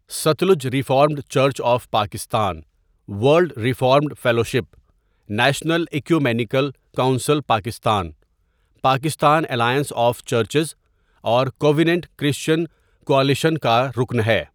Sutlej reformed church of Pakistan world reformed fellowship, national ecumenical council Pakistan, Pakistan alliance of churches اور covenant Christian coalition کا رکن ہے.